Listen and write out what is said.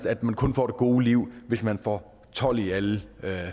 at man kun får det gode liv hvis man får tolv i alle